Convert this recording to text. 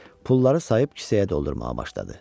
Pulları sayıb kisəyə doldurmağa başladı.